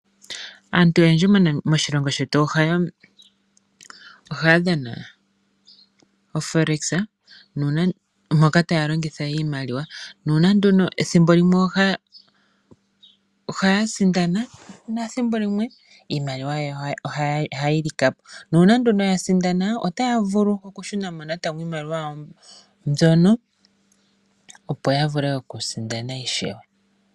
Aantu oyendji moshilongo shetu ohaya kutha ombinga moForex moka taya longitha iimaliwa. Ethimbo limwe ohaya sindana nethimbo limwe iimaliwa yawo ohayi lika po. Uuna ya sindana otaya vulu okushuna mo natango iimaliwa yawo mbyono, opo ya vule okusindana ishewe.